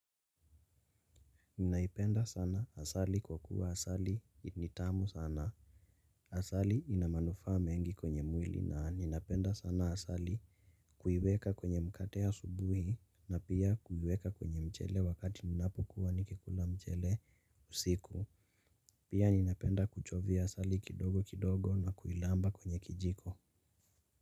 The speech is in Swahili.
Naipenda sana asali, kwa kuwa asali ni tamu sana. Asali ina manufaa mengi kwenye mwili na ninapenda sana asali. Kuiweka kwenye mkate asubuhi na pia kuiweka kwenye mchele wakati ninapukuwa nikikula mchele usiku. Pia ninapenda kuchovia asali kidogo kidogo na kuilamba kwenye kijiko.